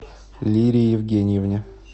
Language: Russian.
лире евгеньевне